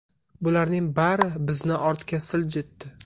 Bularning bari bizni ortga siljitdi.